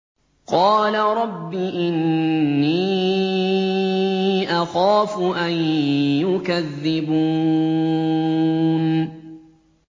قَالَ رَبِّ إِنِّي أَخَافُ أَن يُكَذِّبُونِ